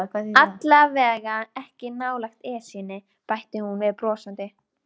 Allavega ekki nálægt Esjunni bætti hún brosandi við.